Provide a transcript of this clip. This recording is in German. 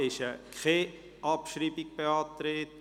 Es ist keine Abschreibung beantragt.